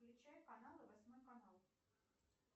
включай каналы восьмой канал